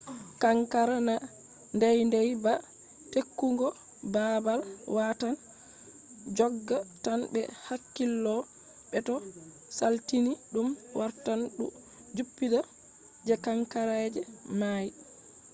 kankara na deydey ba ; tekkugo baabal watan jogga tan be hakkilo be to salitini ɗum wartan du jippita je kankaraji may